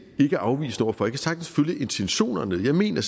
ikke afvisende over for jeg kan sagtens følge intentionerne jeg mener